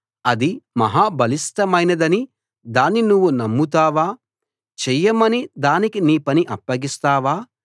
అది మహా బలిష్ఠమైనదని దాన్ని నువ్వు నమ్ముతావా చెయ్యమని దానికి నీ పని అప్పగిస్తావా